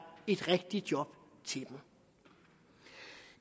et rigtigt job til dem